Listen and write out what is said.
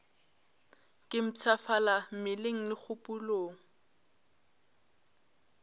ke mpshafala mmeleng le kgopolong